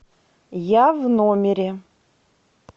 я в номере